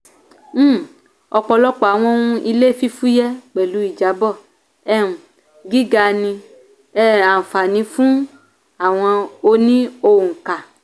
um ọpọlọpọ àwọn ohun ilé fífúyẹ́ pẹ̀lú ìjábọ̀ um gíga ní um anfani fún àwọn oní-óńkà.